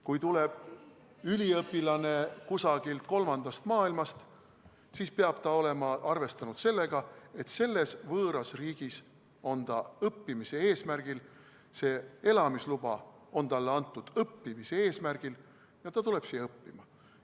Kui tuleb üliõpilane kusagilt kolmandast maailmast, siis peab ta olema arvestanud sellega, et selles võõras riigis on ta õppimise eesmärgil, elamisluba on talle antud õppimise eesmärgil ja ta tuleb siia õppima.